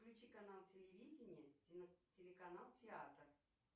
включи канал телевидение телеканал театр